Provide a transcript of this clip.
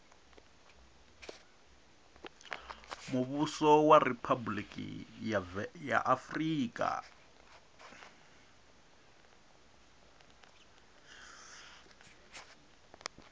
muvhuso wa riphabuliki ya afurika